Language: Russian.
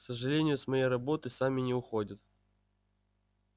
к сожалению с моей работы сами не уходят